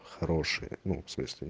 хорошие ну всмысле